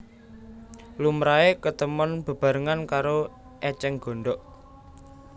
Lumrahé ketemon bebarengan karo ècèng gondhok